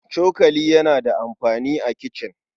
Cokali yana da amfani a kicin.